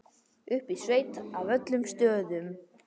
Uppi í sveit af öllum stöðum.